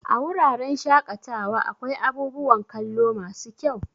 A wuraren shaƙatawa akwai abubuwan kallo masu kyau.